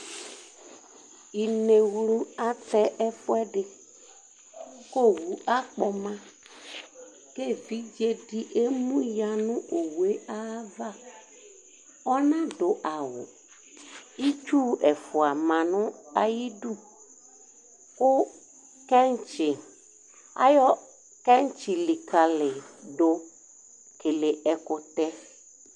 Inewlʋ atɛ ɛfʋɛdi kʋ owʋ akpɔma, kʋ evudzedi emʋya nʋ owe ayʋ ava ɔnadʋ awʋ, itsu ɛfʋa manʋ ayʋ idʋ kʋ ayɔ kɛntsi likalidʋ kele ɛkʋtɛ